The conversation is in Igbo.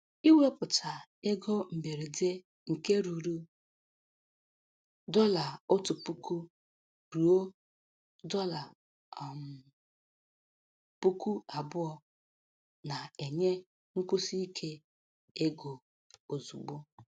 Ịwepụta ego mberede nke ruru dọla otu puku ruo dọla um puku abụọ na-enye nkwụsi ike ego ozugbo.